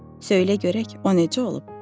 Söylə görək, o necə olub?